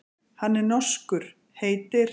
Hann er norskur, heitir